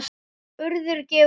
Urður gefur út.